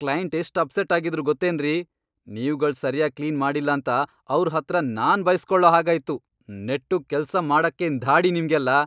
Client ಎಷ್ಟ್ upset ಆಗಿದ್ರು ಗೊತ್ತೇನ್ರಿ.. ನೀವ್ಗಳ್ ಸರ್ಯಾಗ್ ಕ್ಲೀನ್ ಮಾಡಿಲ್ಲಾಂತ ಅವ್ರ್ ಹತ್ರ ನಾನ್ ಬೈಸ್ಕೊಳೋ ಹಾಗಾಯ್ತು. ನೆಟ್ಟುಗ್ ಕೆಲ್ಸ ಮಾಡಕ್ಕೇನ್ ಧಾಡಿ ನಿಮ್ಗೆಲ್ಲ?!